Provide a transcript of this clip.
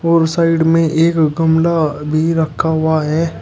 और साइड में एक गमला भी रखा हुआ है।